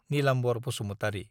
Nilambar Basumatary.